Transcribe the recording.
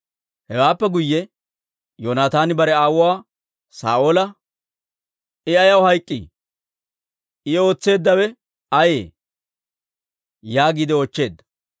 Hewaappe guyye Yoonataani bare aawuwaa Saa'oola, «I ayaw hayk'k'ii? I ootseeddabay ayee?» yaagiide oochcheedda.